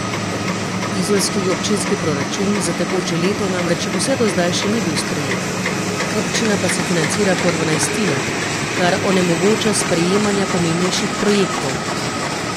Izolski občinski proračun za tekoče leto namreč vse do zdaj še ni bil sprejet, občina pa se financira po dvanajstinah, kar onemogoča sprejemanja pomembnejših projektov.